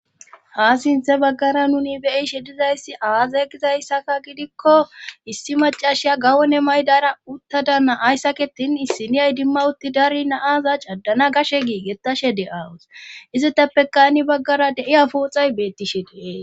Ha sinthe baggara nuni beyi shedizayssi aazay gizayssaka gidikko issi macashiya gawone maydara uttadanna ayssaketin issi niyay dimma utti dari naaza caddana gashe giigetashe de7awus izetappe kani baggara de7iya pooxay beettishe dee'es.